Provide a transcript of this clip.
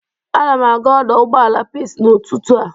Anam aga ọdọ ụgbọala Pis n'ụtụtụ a.